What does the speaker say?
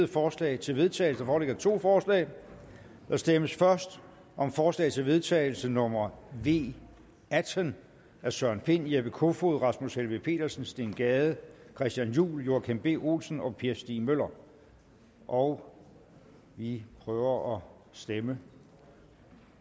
forslag til vedtagelse der foreligger to forslag der stemmes først om forslag til vedtagelse nummer v atten af søren pind jeppe kofod rasmus helveg petersen steen gade christian juhl joachim b olsen og per stig møller og vi prøver at stemme